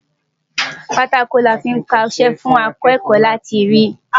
Pátákò ni a fí ń kọṣẹ́ fún akẹ́kọ̀ọ́ láti rí.